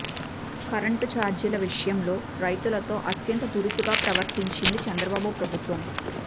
current చార్జీల విషయంలో రైతులతో అత్యంత దురుసుగా ప్రవర్తించింది చంద్రబాబు ప్రభుత్వం